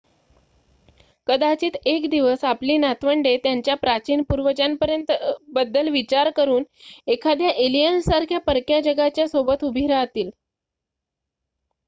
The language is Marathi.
कदाचित एक दिवस आपली नातवंडे त्यांच्या प्राचीन पूर्वजांबद्दल विचार करून एखाद्या एलियन सारख्या परक्या जगाच्या सोबत उभी राहतील